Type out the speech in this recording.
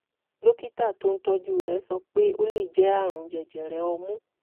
dókítà tó ń tọ́jú rẹ̀ sọ pé ó lè jẹ́ ààrùn jẹjẹrẹ ọmú